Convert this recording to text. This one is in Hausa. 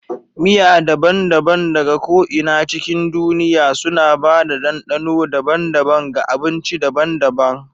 Miya daban-daban daga ko'ina cikin duniya suna ba da dandano daban-daban ga abinci daban-daban.